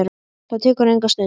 Það tekur enga stund.